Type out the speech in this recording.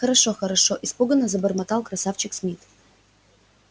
хорошо хорошо испуганно забормотал красавчик смит